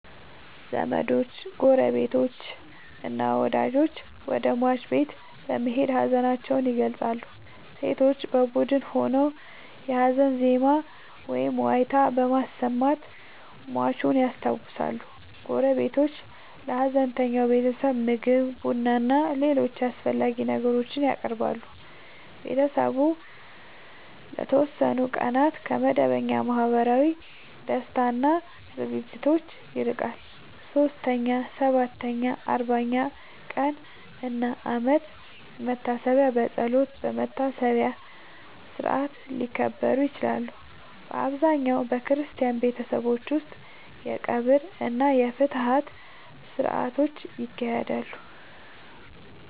ዘመዶች፣ ጎረቤቶችና ወዳጆች ወደ ሟች ቤት በመሄድ ሀዘናቸውን ይገልጻሉ። ሴቶች በቡድን ሆነው የሀዘን ዜማ ወይም ዋይታ በማሰማት ሟቹን ያስታውሳሉ። ጎረቤቶች ለሀዘንተኛው ቤተሰብ ምግብ፣ ቡናና ሌሎች አስፈላጊ ነገሮችን ያቀርባሉ። ቤተሰቡ ለተወሰኑ ቀናት ከመደበኛ ማህበራዊ ደስታ እና ዝግጅቶች ይርቃል። 3ኛ፣ 7ኛ፣ 40ኛ ቀን እና የአመት መታሰቢያ በጸሎትና በመታሰቢያ ሥርዓት ሊከበሩ ይችላሉ። በአብዛኛው በክርስቲያን ቤተሰቦች ውስጥ የቀብር እና የፍትሐት ሥርዓቶች ይካሄዳሉ።